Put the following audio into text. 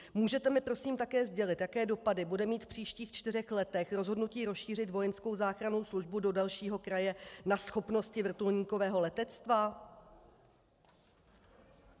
Můžete mi prosím také sdělit, jaké dopady bude mít v příštích čtyřech letech rozhodnutí rozšířit vojenskou záchrannou službu do dalšího kraje na schopnosti vrtulníkového letectva?